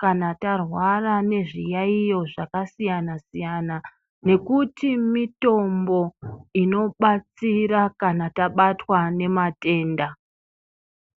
kana tarwara ngezviyaiyo zvakasiyana siyana nekuti mitombo inobatsira kana tabatwa ngematenda.